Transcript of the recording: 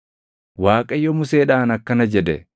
Waaqayyo Museedhaan akkana jedhe;